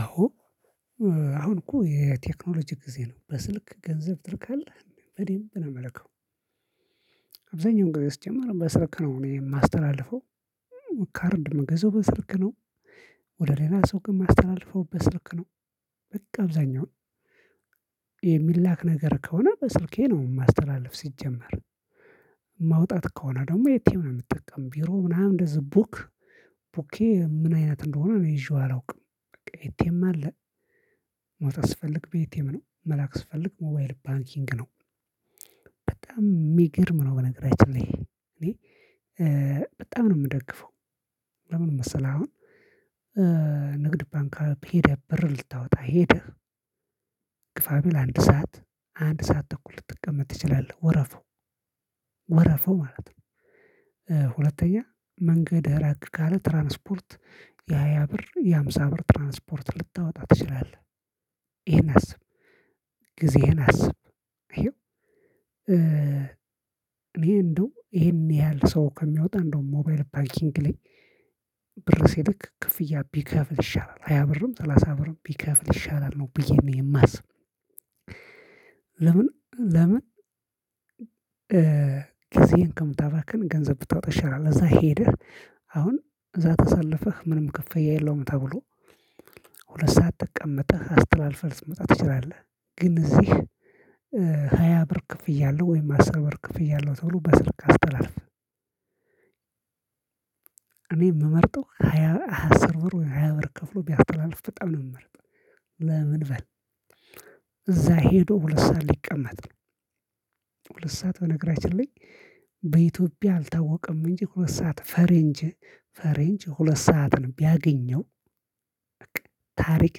አዎ አሁን እኮ የቴክኖሎጂ ጊዜ ነው በስልክ ገንዘብ ትልካለህ በዴምብ ነው እምልከው። አብዛኛው ጊዜ ሲጀመር በስልክ ነው እኔ የማስተላልፈው ካርድ ምገዛው በስልክ ነው። ወደ ሌላ ሱቅ ማስተላለፈው በስልክ ነው። በቃ አብዛኛው የሚላክ ነገር ከሆነ በስልኬ ነው ማስተላልፍ ሲጀመር። ማውጣት ከሆነ ደግሞ ኤትኤም ነው የምትጠቀም ቢሮ ምናምን እንደዚህ ቡክ ቡኬ ምን አይነት እንደሆነ እኔ ይዤው አላውቅም። ኢቴም አለ። ማውጣት ስፈልግ በኢቴም ነው መላክ ስፈልግ ሞባይል ባንኪንግ ነው። በጣም የሚገርም ነው በነገራችን ላይ እኔ በጣም ነው የምደግፈው። ለምን መሰለህ አሁን ንግድ ባንክ ሄደህ ብር ልታወጣ ሄደህ ግፋ ቢል አንድ ሰዓት አንድ ሰዓት ተኩል ልትቀመጥ ትችላለህ ወረፋው ወረፋው ማለት ነው። ሁለተኛ መንገድ ራቅ ካለ ትራንስፖርት የሃያ ብር የሃምሳ ብር ትራንስፖርት ልታወጣ ትችላለህ ይሄን አስብ። ጊዜህን አስብ። አይኸው እኔ እንደው ይሄን ያህል ሰው ከሚያወጣ እንደውም ሞባይል ባኪንግ ላይ ብር ሲልክ ክፍያ ቢከፍል ይሻላል። ሃያ ብርም ሰላሳ ብርም ቢከፍል ይሻላል ነው ብዬ ነው የማስብ። ለምን ለምን ጊዜን ከምታባክን ገንዘብ ብታወጣ ይሻላል። እዛ ሄደህ አሁን እዛ ተሰልፈህ ምንም ክፍያ የለውም ተብሎ ሁለት ሰዓት ተቀመጠህ አስተላልፈህ ልትመጣ ትችላለህ። ግን እዚህ ሃያ ብር ክፍያ አለው ወይም አስር አስር ብር ክፍያ አለው ተብሎ በስልክ አስተላልፍ። እኔ የምመርጠው ሃያ አስር ብር ወይ ሃያ ብር ከፍሎ ቢያስተላልፍ በጣም ነው የምመርጠው። ለምን በል እዛ ሄዶ ሁለት ሰዓት ሊቀመጥ ነው። ሁለት ሰዓት በነገራችን ላይ በኢትዮጵያ አልታወቀም እንጂ ሁለት ሰዓት ፈረንጅ ፈረንጅ ሁለት ሰዓትን ቢያገኘው። ታሪክ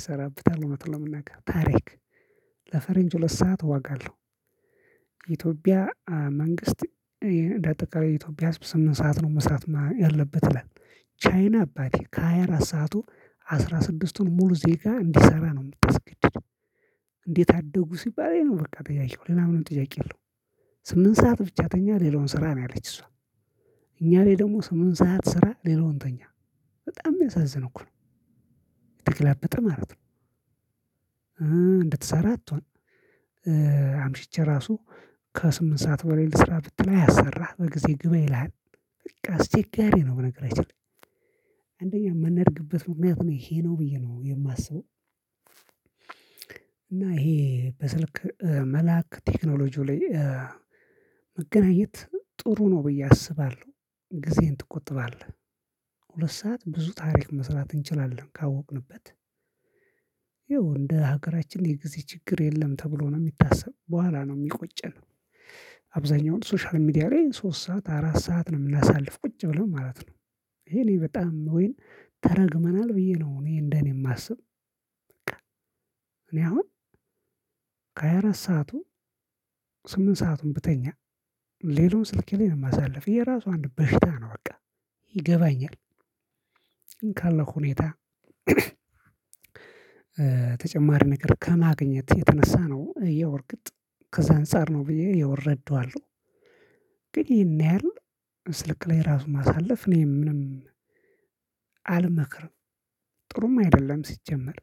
ይሰራበታል እውነቱን ለመናገር ታሪክ ለፈረንጅ ሁለት ሰዓት ዋጋ አለው። የኢትዮጵያ መንግስት እንደ አጠቃላይ የኢትዮጵያ ህዝብ ስምንት ሰዓት ነው መስራት ያለበት ይላል። ቻይና አባቴ ከ ሃያ አራት ሰዓቱ አስራ ስድስቱን ሙሉ ደቂቃ እንዴሰራ ነው የምታስገድድ። እንዴት አደጉ ሲባል ኢሄ ነው በቃ ጥያቄው ሌላ ምንም ጥያቄ የለውም። ስምንት ሰዓት ብቻ ተኛ ሌላውን ስራ ነው ያለች እሷ። እኛ ላይ ደግሞ ስምንት ሰዓት ስራ ሌላውን ተኛ በጣም የሚያሳዝን እኮ ነው። የተገላበጠ ማለት እንድትሰራ አትሆን። አምሽቼ ራሱ ከስምንት ሰዓት በላይ ልስራ ብትል አያሰራህ በጊዜ ግባ ይልሃል። በቃ አስቸጋሪ ነው ብነገራችንላይ። አንደኛ የምንደርግበት ምክንያትም ይሄ ነው ብዬ ነው የማስበው። እና ይሄ በስልክ መላክ ቴክኖሎጂው ላይ መገናኘት ጥሩ ነው ብዬ አስባለሁ። ጊዜን ትቆጥባለህ ሁለት ሰዓት ብዙ ታሪክ መስራት እንችላለን ካወቅንበት። ያው እንደ ሀገራችን የጊዜ ችግር የለም ተብሎ ነው የሚታሰብ በኋላ ነው የሚቆጨን። አብዛኛውን ሶሻል ሚዲያ ላይ ሶስት ሰዓት አራት ሰዓት ነው የምናሳልፍ ቁጭ ብለን ማለት ነው። ይሄ እኔ በጣም ወይም ተረግመናል ብዬ ነው እኔ እንደኔ የማስብ። በቃ እኔ አሁን ከሃያ አራት ሰዓቱ ስምንት ሰአቱን ብተኛ ሌላውን ስልኬ ላይ ነው የማሳልፍ የራሱ አንድ በሽታ ነው በቃ። ይገባኛል። ግን ካለው ሁኔታ ተጨማሪ ነገር ከማግኘት የተነሳ ነው ይኸው እርግጥ ከዛ አንፃር ነው ብዬ ያው እረዳዋለው። ግን ይሄን ያህል ስልክ ላይ ራሱ ማሳለፍ እኔ ምንም አልመክርም። ጥሩም አይደለም ሲጀመር